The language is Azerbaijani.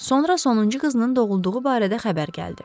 Sonra sonuncu qızının doğulduğu barədə xəbər gəldi.